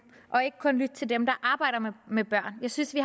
og ikke kun lytter til dem der arbejder med børn jeg synes vi